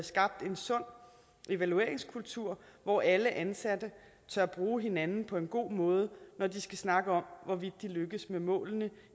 skabt en sund evalueringskultur hvor alle ansatte tør bruge hinanden på en god måde når de skal snakke om hvorvidt de lykkes med målene